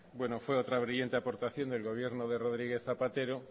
fue otra brillante aportación del gobierno de rodríguez zapatero